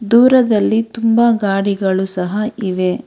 ದೂರದಲ್ಲಿ ತುಂಬಾ ಗಾಡಿಗಳು ಸಹ ಇವೆ.